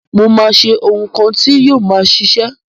Mo má se oun kan ti yio ma sisẹ